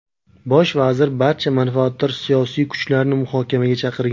Bosh vazir barcha manfaatdor siyosiy kuchlarni muhokamaga chaqirgan.